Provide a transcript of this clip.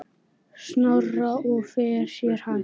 Snorra og fer sér hægt.